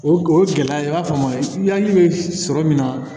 O o gɛlɛya i b'a faamu yanni bɛ sɔrɔ min na